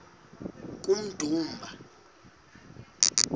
kummdumba